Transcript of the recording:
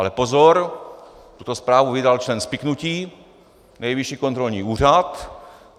Ale pozor, tuto zprávu vydal člen spiknutí - Nejvyšší kontrolní úřad.